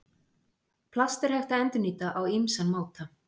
Plast er hægt að endurnýta á ýmsan máta.